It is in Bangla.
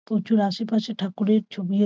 পুজোর আসে পাশে ঠাকুরের ছবি আ--